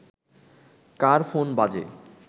কার phone বাজে